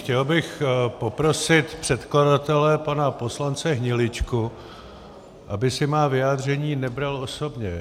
Chtěl bych poprosit předkladatele pana poslance Hniličku, aby si má vyjádření nebral osobně.